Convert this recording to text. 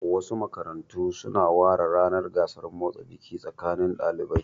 Wasu makarantun su na ware ranar gasar motsa jiki tsakanin ɗalibai